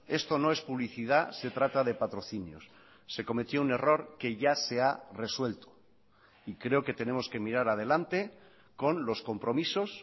esto no es publicidad se trata de patrocinios se cometió un error que ya se ha resuelto y creo que tenemos que mirar adelante con los compromisos